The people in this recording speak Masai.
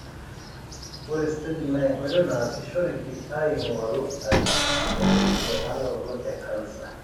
ore staging na enkoitoi nasishoreki aingoru ajo kaji etabayie emanaroto ecancer.